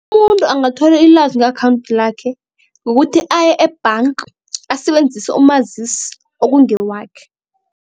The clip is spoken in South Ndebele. Umuntu angatholi ilwazi nge-akhawunthi lakhe ngokuthi aye e-bank asebenzise umazisi okungewakhe.